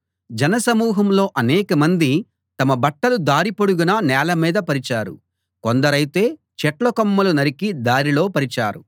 జనసమూహంలో అనేకమంది తమ బట్టలు దారి పొడుగునా నేలమీద పరిచారు కొందరైతే చెట్లకొమ్మలు నరికి దారిలో పరిచారు